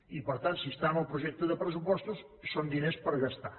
i per tant si està en el projecte de pressupostos són diners per gastar